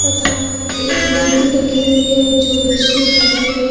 तथा एक मूर्ति रखी हुई है जो विष्णु जी की है।